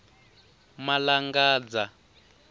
malangadza